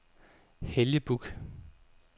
Helge Buch